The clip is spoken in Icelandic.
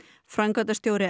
framkvæmdastjóri